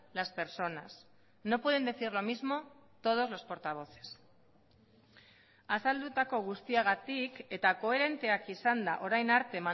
las personas no pueden decir lo mismo todos los portavoces azaldutako guztiagatik eta koherenteak izanda orain arte